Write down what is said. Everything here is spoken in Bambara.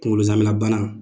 Kunkolo zɛmɛnabana